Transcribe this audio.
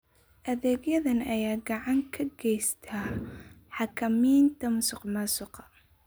Adeegyadan ayaa gacan ka geysta xakamaynta musuqmaasuqa.